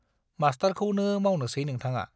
मास्टारखौनो मावनोसै नोंथाङा?